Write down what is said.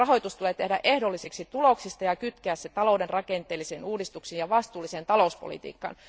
Rahoitus tulee tehdä ehdolliseksi tuloksista ja kytkeä se talouden rakenteellisiin uudistuksiin ja vastuulliseen talouspolitiikkaan.